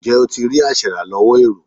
Ǹjẹ́ o ti rí aṣèràlọ́wọ́ èrò?